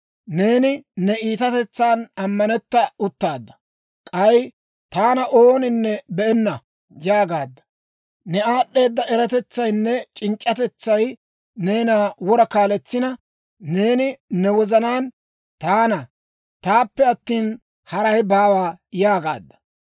«Neeni ne iitatetsan ammanetta uttaadda; k'ay, ‹Taana ooninne be'enna› yaagaadda. Ne aad'd'eeda eratetsaynne c'inc'c'atetsay neena wora kaaletsina, neeni ne wozanaan, ‹Taana, taappe attina, haray baawa› yaagaadda.